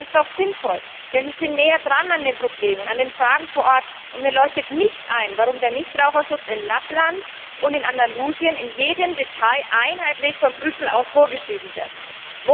Das ist doch sinnvoll, denn sie sind näher an den Problemen dran, an den Fragen vor Ort, und mir leuchtet nicht ein, warum der Nichtraucherschutz in Lappland und in Andalusien in jedem Detail einheitlich von Brüssel aus vorgeschrieben werden muss.